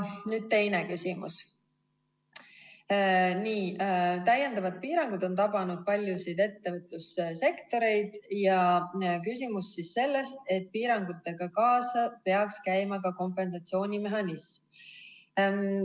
Nüüd teine küsimus: täiendavad piirangud on tabanud paljusid ettevõtlussektoreid ja piirangutega peaks kaasas käima ka kompensatsioonimehhanism.